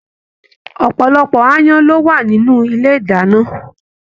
Ọpọlọpọ aáyán ló wà nínú ilé ìdáná.